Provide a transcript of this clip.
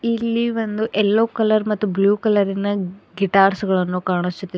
ಇಲ್ಲಿ ಒಂದು yellow colour ಮತ್ತು ಬ್ಲೂ ಕಲರಿನ ಗಿಟಾರ್ಸ್ ಗಳನ್ನು ಕಾಣುಸುತ್ತಿದೆ.